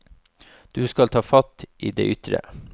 Du skal ta fatt i det ytre.